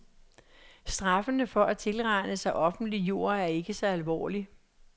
Straffene for at tilrane sig offentlig jord er ikke så alvorlig.